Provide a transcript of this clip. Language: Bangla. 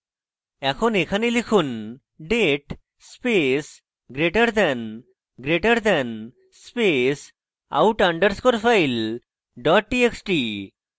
এখন এখানে লিখুন date space greater than greater than space out underscore file dot txt